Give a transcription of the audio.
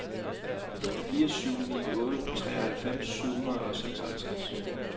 fire syv ni otte treoghalvfems syv hundrede og seksoghalvtreds